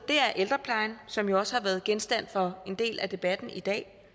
er ældreplejen som jo også har været genstand for en del af debatten i dag